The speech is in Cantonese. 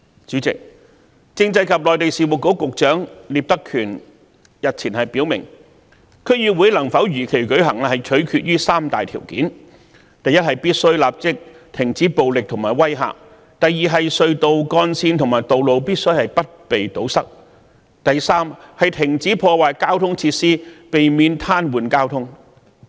主席，政制及內地事務局局長聶德權日前表明，區議會能否如期舉行取決於三大條件：第一，必須立即停止暴力及威嚇；第二，隧道幹線和道路必須不被堵塞；第三，停止破壞交通設施，避免癱瘓交通。